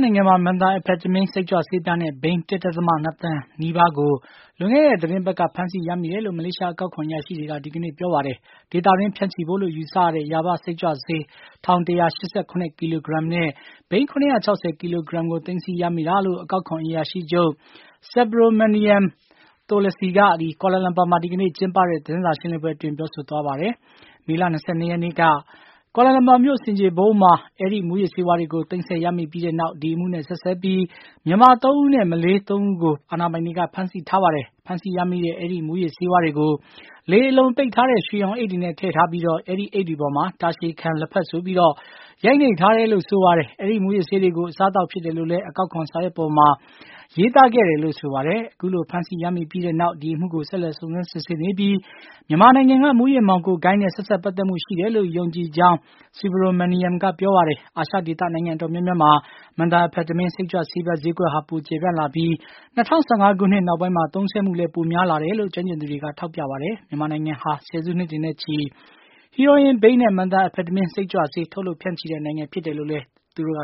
းနိုင်ငံမှာ Methamphetamine စိတ်ကြွဆေးပြားနဲ့ဘိန်း ၁.၂ တန် နီးပါးကို ပြီးခဲ့တဲ့ သီတင်းပတ်က ဖမ်းဆီးရမိတယ်လို့ မလေးရှား အကောက်ခွန် အရာရှိတွေက ဒီကနေ့ ပြောပါတယ်။ ဒေသတွင်း ဖြန့်ချီဖို့အတွက်လို့ ယူဆရတဲ့ ယာဘ စိတ်ကြွဆေး ၁၁၈၇ ကီလိုဂရမ်နဲ့ ဘိန်း ၇၆၀ ကီလိုဂရမ်ကို သိမ်းဆည်းရမိတာလို့ အကောက်ခွန် အရာရှိချုပ် Subromaniam Tholasy က ကွာလမ်လမ်ပါမှာ ဒီကနေ့ ကျင်းပတဲ့ သတင်းစာရှင်းလင်းပွဲအတွင်း ပြောဆိုသွားတာပါ။ မေလ ၂၂ ရက်နေ့က ကွာလမ်လမ်ပါမြု့ိ ဆင်ခြေဖုံးမှာ အဲဒီမုူးယစ်ဆေးဝါးတွေကို သိမ်းဆည်းရမိပြီးနောက် ဒီအမှုနဲ့ ဆက်စပ်ပြီး မြန်မာ ၃ ဦးနဲ့ မလေးရှား ၃ ဦးကို အာဏာပိုင်တွေက ဖမ်းဆီးထားပါတယ်။ ဖမ်းဆီးရမိတဲ့ အဲဒီမူးယစ်ဆေးဝါးတွေကို လေအလုံပိတ်ထားတဲ့ ရွှေရောင်အိတ်တွေနဲ့ ထည့်ထားပြီး အဲဒီအိတ်တွေပေါ်မှာ တာရှည်ခံ လက်ဖက်ဆိုပြီး ရိုက်နှိပ်ထားတယ်လို့ ဆိုပါတယ်။ အဲဒီ မူးယစ်ဆေးတွေကို အစားအသောက်ဖြစ်တယ်လို့လည်း အကောက်ခွန်စာရွက်ပေါ်မှာ ရေးသားထားတယ်လို့ ဆိုပါတယ်။ အခုလို ဖမ်းဆီးရမိပြီနောက် ဒီအမှုကို ဆက်လက် စုံစမ်းစစ်ဆေးနေပြီး မြန်မာနိုင်ငံက မူးယစ်မှောင်ခိုဂိုဏ်းနဲ့ ဆက်စပ်ပတ်သတ်မှုရှိတယ်လို့ ယုံကြည်ကြောင်း Subromaniam က ပြောပါတယ်။ အာရှဒေသ နိုင်ငံ အတော်များများမှာ methamphetamine စိတ်ကြွဆေးပြား ဈေးကွက်ဟာ ပိုကျယ်ပြန့်လာပြီး ၂၀၁၅ ခုနှစ်နောက်ပိုင်းမှာ သုံးစွဲမှုလည်း ပိုများလာတယ်လို့ ကျွမ်းကျင်သူတွေက ထောက်ပြပါတယ်။ မြန်မာနိုင်ငံဟာ ဆယ်စုနှစ်တွေနဲ့ချီ ဟီးရိုးအင်း ဘိန်းနဲ့ methamphetamine စိတ်ကြွဆေး ထုတ်လုပ်ဖြန့်ချီတဲ့နိုင်ငံဖြစ်တယ်လို့လည်း သူတို့က